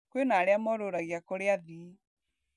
Kwĩna arĩa morũragia kũrĩ athii